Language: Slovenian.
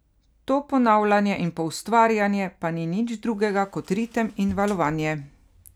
To ponavljanje in poustvarjanje pa ni nič drugega kot ritem in valovanje.